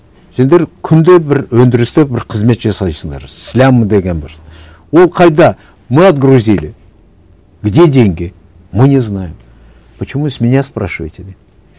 сендер күнде бір өндірісте бір қызмет жасайсыңдар слям деген бір ол қайда мы отгрузили где деньги мы не знаем почему с меня спрашиваете деймін